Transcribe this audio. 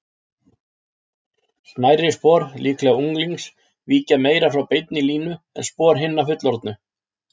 Smærri spor, líklega unglings, víkja meira frá beinni línu en spor hinna fullorðnu.